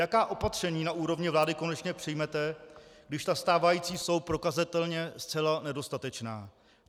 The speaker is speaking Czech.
Jaká opatření na úrovni vlády konečně přijmete, když ta stávající jsou prokazatelně zcela nedostatečná?